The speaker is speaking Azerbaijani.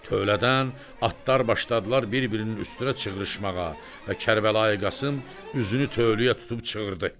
Tövlədən atlar başladılar bir-birinin üstünə çığrışmağa, və Kərbəlayı Qasım üzünü tövləyə tutub çığırdı.